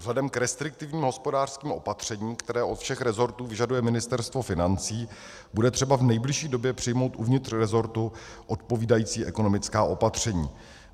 Vzhledem k restriktivním hospodářským opatřením, které od všech resortů vyžaduje Ministerstvo financí, bude třeba v nejbližší době přijmout uvnitř resortu odpovídající ekonomická opatření.